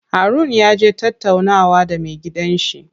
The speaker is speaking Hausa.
Harun yaje tattaunawa da me gidan shi.